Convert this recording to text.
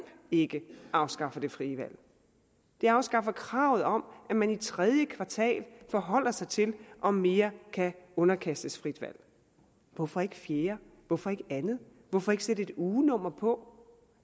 ikke afskaffer det frie valg det afskaffer kravet om at man i tredje kvartal forholder sig til om mere kan underkastes frit valg hvorfor ikke fjerde hvorfor ikke andet hvorfor ikke sætte et ugenummer på